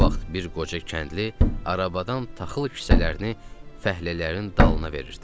O vaxt bir qoca kəndli arabadan taxıl kisələrini fəhlələrin dalına verirdi.